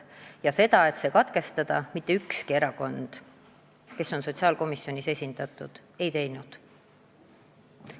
Ja ettepanekut lugemine katkestada mitte ükski erakond, kes on sotsiaalkomisjonis esindatud, ei teinud.